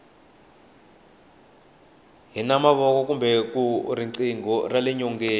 hi na mavona kule ka riqingho rale nyoneni